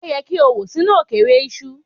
O yẹ ki o wo sinu okeere iṣu